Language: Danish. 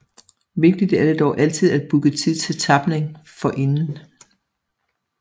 Vigtigt er det dog altid at booke tid til tapning forinden